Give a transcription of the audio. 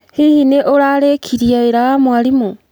Hihi nĩ ũrarĩkirie wĩra wa mwarimũ?